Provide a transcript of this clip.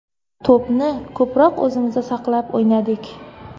To‘pni ko‘proq o‘zimizda saqlab o‘ynadik.